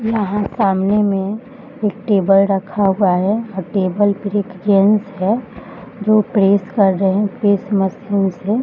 यहाँ सामने में एक टेबल रखा हुआ है टेबल पर एक जेंट्स है जो प्रेस कर रहे है प्रेस मशीन से।